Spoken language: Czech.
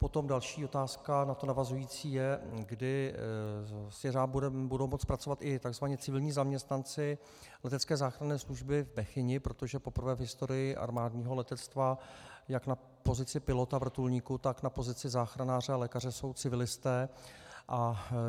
Potom další otázka na to navazující je, kdy s jeřábem budou moci pracovat i tzv. civilní zaměstnanci letecké záchranné služby v Bechyni, protože poprvé v historii armádního letectva jak na pozici pilota vrtulníku, tak na pozici záchranáře a lékaře jsou civilisté.